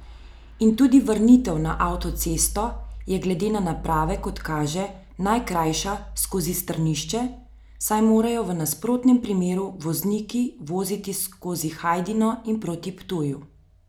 In tudi vrnitev na avtocesto je glede na naprave, kot kaže, najkrajša skozi Strnišče, saj morajo v nasprotnem primeru vozniki voziti skozi Hajdino in proti Ptuju.